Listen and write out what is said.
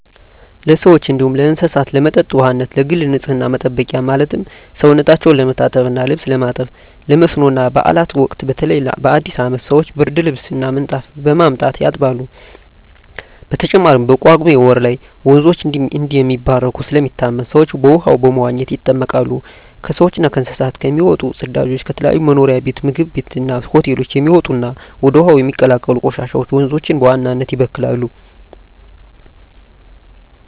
ለሰዎች እንዲሁም ለእስሳት ለመጠጥ ውሃነት፣ ለግል ንፅህና መጠበቂያ ማለትም ሰውነታቸው ለመታጠብ እና ልብስ ለማጠብ፣ ለመስኖ እና ባእላት ወቅት በተለይ በአዲስ አመት ሰወች ብርድልብስ እና ምንጣፍ በማምጣት ያጥባሉ። በተጨማሪም በጳጉሜ ወር ላይ ወንዞች እንደሚባረኩ ስለሚታመን ሰወች በውሃው በመዋኘት ይጠመቃሉ። ከሰውች እና ከእንስሳት የሚወጡ ፅዳጆች፣ ከተለያዩ መኖሪያ ቤት ምግብ ቤት እና ሆቴሎች የሚወጡ እና ወደ ውሀው የሚቀላቀሉ ቆሻሻወች ወንዞችን በዋናነት ይበክላሉ።